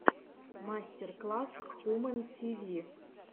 мастер класс хумэн ти ви